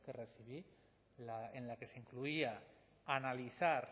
recibí en la que se incluía analizar